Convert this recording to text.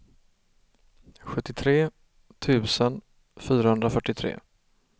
sjuttiotre tusen fyrahundrafyrtiotre